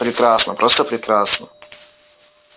прекрасно просто прекрасно